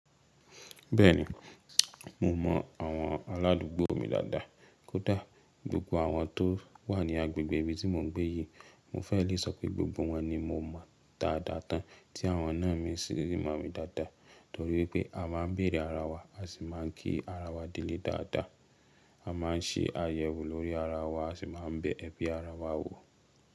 Bẹ́ẹ̀ni, mo mọ àwọn aládùúgbò mi dáadáa. Kódà gbogbo àwọn tó wà ní agbègbè ibi tí mò ń gbé yìí, mo fẹ́ lè sọ pé gbogbo wọn ni mo mọ dáadáa tán tí àwọn náà mi sì really mọ̀ mi dáadáa torí wípé a máa ń bèrè ara wa, a sì máà ń kí ara wa delè dáadáa. A máà ń ṣe àyẹ̀wò lórí ara wa, a sì máa ń bẹ̀ ẹbí ara wa wò.